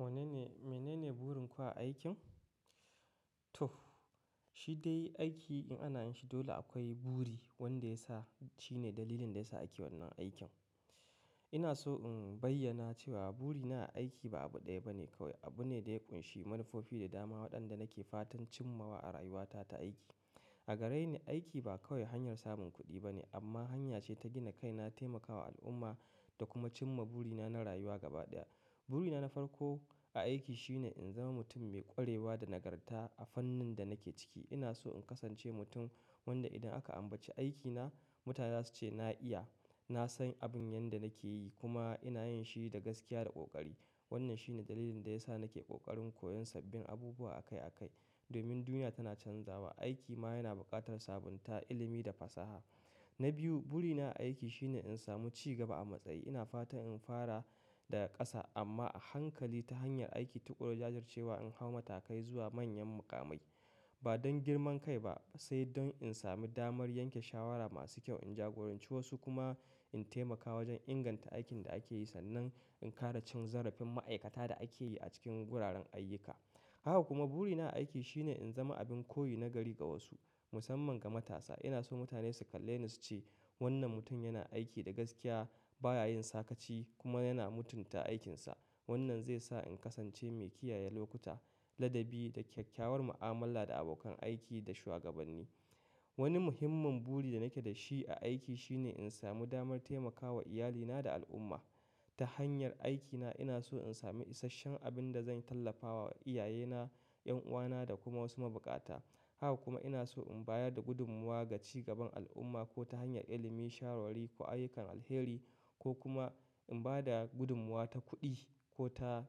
Mene ne burin ku a aikin? Toh shi dai aiki in ana yin shi dole akwai buri wanda ya sa shine dalilin da ya sa ake wannan aikin. Ina so in bayyana cewa burina a aiki ba abu ɗaya ba ne kawai, abu ne da ya ƙunshi manufofi da dama waɗanda nake fatan cimmawa a rayuwata ta aiki. A gareni aiki ba kawai hanyar samun kuɗi ba ne amma hanya ce ta gina kai na taimakawa al'umma da kuma cimma burina na rayuwa gaba ɗaya. Burina na farko a aiki shine in zama mutum mai ƙwarewa da nagarta a fannin da nake ciki. Ina so in kasance mutum wanda idan aka ambaci aikina mutane za su ce na iya, na san abin yanda nake yi kuma ina yin shi da gaskiya da ƙoƙari. Wannan shine dalilin da ya sa nake ƙoƙarin koyon sabbin abubuwa akai akai. Domin duniya tana canzawa, aiki ma yana buƙatar sabunta, ilimi da fasaha. Na biyu, burina a aiki shine in samu cigaba a matsayi. Ina fatan in fara daga ƙasa amma a hankali ta hanyar aiki tuƙur jajircewa in hau matakai zuwa manyan muƙamai. Ba don girman kai ba sai don in samu damar yanke shawara masu kyau, in jagoranci wasu kuma in taimaka wajen inganta aikin da ake yi sannan in kara cin zarafin ma'aikata da ake yi a cikin guraren ayyuka. Haka kuma burina a aiki shine in zama abin koyi na gari ga wasu musamman ga matasa. Ina so mutane su kalle ni su ce wannan mutum yana aiki da gaskiya, ba ya yin sakaci kuma yana mutunta aikinsa. Wannan zai sa in kasance mai kiyaye lokuta, ladabi da kyakkyawar mu'amala da abokan aiki da shugabanni. Wani muhimman buri da nake da shi a aiki shine in samu damar taimakawa iyalina da al'umma. Ta hanyar aikina ina so in samu isasshen abin da zan tallafawa iyayena, 'yan uwana da kuma wasu mabuƙata. Haka kuma ina so in bayar da gudummuwa ga cigaban al'umma ko ta hanyar ilimi, shawarwari ko ayyukan alheri ko kuma in ba da gudummuwa ta kuɗi ko ta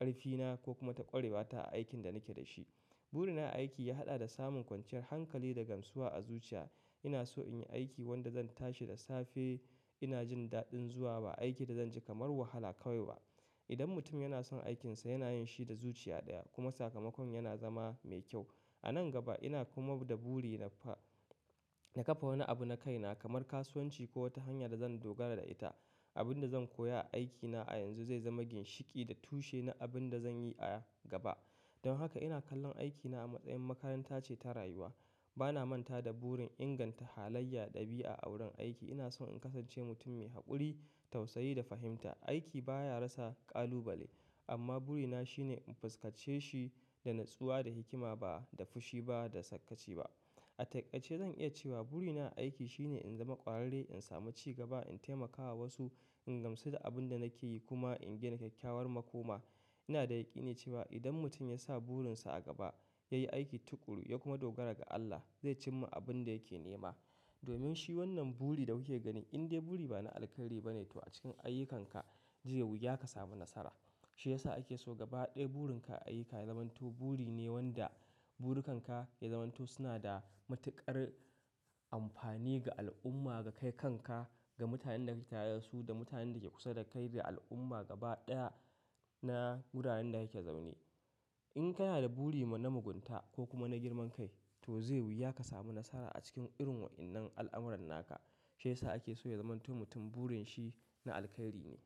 ƙarfina ko kuma ta ƙurewata a aikin da nake da shi. Burina a aiki ya haɗa da samun kwanciyar hankali da gamsuwa a zuciya. Ina so in yi aiki wanda zan tashi da safe ina jin daɗin zuwa ba aiki da zan ji kamar wahala kawai ba. Idan mutum yana son aikinsa yana yin shi da zuciya ɗaya kuma sakamakon yana zama mai kyau. A nan gaba ina kuma da buri na fa-na kafa wani abu na kaina kamar kasuwanci ko wata hanya da zan dogara da ita. Abin da zan koya a aikina a yanzu zai zama ginshiƙi da tushe na abin da zan yi a gaba. Don haka ina kallon aikina a matsayin makaranta ce ta rayuwa. Ba na manta da burin inganta halayya, ɗabi'a a wurin aiki. Ina so in kasance mutum mai haƙuri, tausayi da fahimta. Aiki ba ya rasa ƙalubale amma burina shine in fuskance shi da natsuwa da hikima ba da fushi ba da sakaci ba. A taƙaice zan iya cewa burina a aiki shine in zama ƙwararre, in samu cigaba, in taimakawa wasu, in gamsu da abin da nake yi kuma in gina kyakkyawar makoma. Ina da yaƙini cewa idan mutum ya sa burinsa a gaba, ya yi aiki tuƙuru ya kuma dogara ga Allah zai cimma abin da yake nema. Domin shi wannan buri da kuke ganin in dai buri ba na alkhairi ba ne to a cikin ayyukanka, zai wuya ka samu nasara. Shi ya sa ake so gaba ɗaya burin ka a ayyuka ya zamanto buri ne wanda burukan ka ya zamanto suna da matuƙar amfani ga al'umma, ga kai kanka, ga mutanen da ke tare su da mutanen da ke kusa da kai da al'umma gaba ɗaya na guraren da yake zaune. In kana da buri ma na mugunta ko kuma na girman kai to zai wuya ka samu nasara a cikin irin wa'innan al'amuran naka. Shi ya sa ake so ya zamanto mutum burin shi na alheri ne.